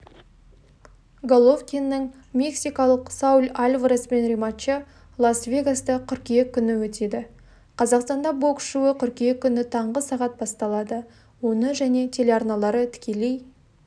головкиннің мексикалық сауль альвареспен рематчы лас-вегаста қыркүйек күні өтеді қазақстанда бокс шоуы қыркүйек күні таңғы сағат басталады оны және телеарналары тікелей